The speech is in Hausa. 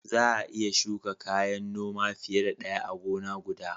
Za a iya shuka kayan noma fiye da ɗaya a gona guda.